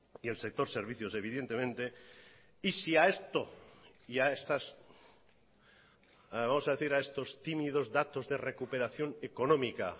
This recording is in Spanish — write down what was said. y el sector servicios evidentemente y si a esto y a estas vamos a decir a estos tímidos datos de recuperación económica